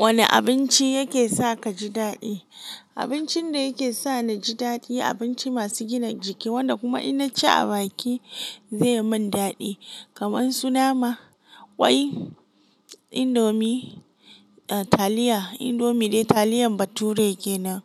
Wane abinci yake sa kaji daɗi? Abincin da yake sa ni ji daɗi abinci masu gina jiki, wanda kuma in naci a baki ze mun daɗi, kamar su nama, kwai, indomi, ah taliya indomie dai taliyan bature kenan,